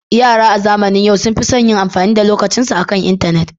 Yara a zamanin yau sun fi son yin amfani da lokacinsu akan intanet.